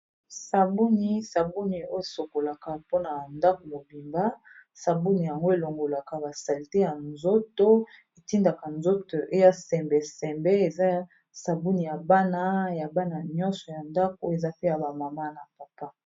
Sabuni, sabuni osokolaka mpona ndako mobimba sabuni yango elongolaka ba salite ya nzoto etindaka nzoto eya sembe sembe eza sabuni ya bana ya bana nyonso ya ndako eza pe ya ba mama na papa.